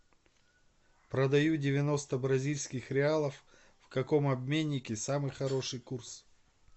продаю девяносто бразильских реалов в каком обменнике самый хороший курс